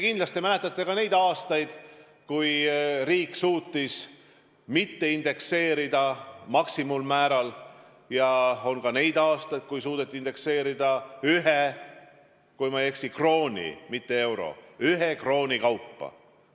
Kindlasti mäletate ka neid aastaid, kui riik ei suutnud indekseerida maksimummääral, ja ka neid aastaid, kui suudeti indekseerida, kui ma ei eksi, ühe krooni – mitte ühe euro, vaid ühe krooni – kaupa.